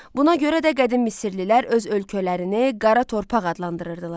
Buna görə də qədim Misirlilər öz ölkələrini qara torpaq adlandırırdılar.